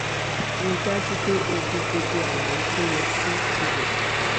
ri dajupe o fi gbogbo alaye to ye si ibe